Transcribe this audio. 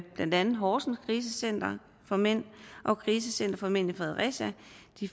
blandt andet horsens krisecenter for mænd og krisecenter for mænd i fredericia